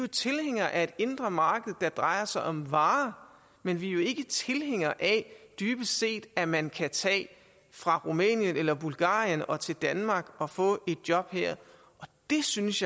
tilhængere af et indre marked der drejer sig om varer men vi er dybest set ikke af at man kan tage fra rumænien eller bulgarien og til danmark og få et job her og det synes